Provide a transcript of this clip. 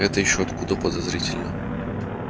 это ещё откуда подозрительно